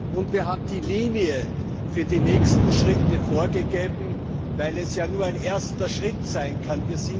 Und wir haben die Linie für die nächsten Schritte vorgegeben, weil es ja nur ein erster Schritt sein kann.